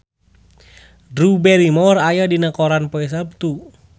Drew Barrymore aya dina koran poe Saptu